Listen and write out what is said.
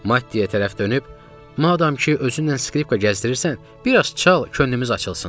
Mattiya tərəf dönüb, madam ki özünlə skripka gəzdirirsən, bir az çal, könlümüz açılsın, dedim.